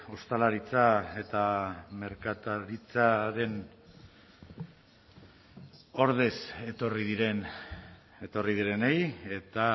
ostalaritza eta merkataritzaren ordez etorri diren etorri direnei eta